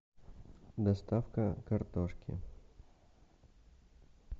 доставка картошки